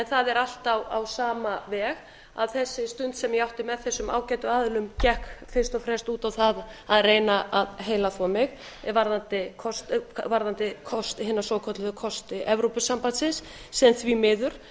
það er allt á sama veg að þessi fundur sem ég átti með þessum ágætu aðilum gekk fyrst og fremst út á það að reyna að heilaþvo mig varðandi hina svokölluð kosti evrópusambandsins sem því miður